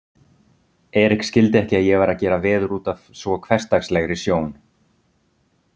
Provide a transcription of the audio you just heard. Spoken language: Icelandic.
Erik skildi ekki að ég væri að gera veður útaf svo hversdagslegri sjón.